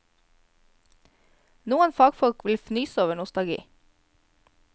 Noen fagfolk vil fnyse over nostalgi.